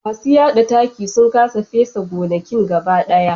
Masu yada taki sun kasa fesa gonakin gaba daya